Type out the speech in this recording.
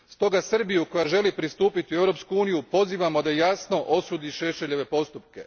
Stoga Srbiju koja želi pristupiti u Europsku uniju pozivamo da jasno osudi Šešeljeve postupke.